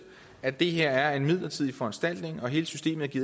at det her er en midlertidig foranstaltning at hele systemet